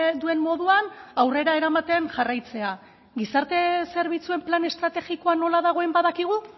duen moduan aurrera eramaten jarraitzea gizarte zerbitzuen plan estrategikoa nola dagoen badakigu